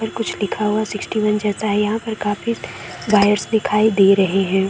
कुछ लिखा हुआ है सिक्सटी वन जैसा है यहाँ पे काफी वायर्स दिखाई दे रहे हैं।